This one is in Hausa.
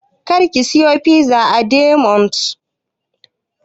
Kar ki siyo min fizar Dominos!